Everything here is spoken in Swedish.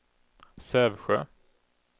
Sävsjö